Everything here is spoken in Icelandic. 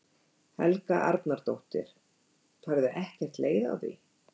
Helga Arnardóttir: Færðu ekkert leið á því?